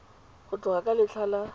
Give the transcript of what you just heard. go tloga ka letlha la